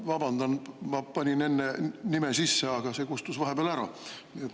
Vabandan, ma vajutasin küll enne oma nime sisse, aga see kustus vahepeal ära.